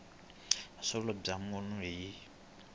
vuxokoxoko bya mahungu byi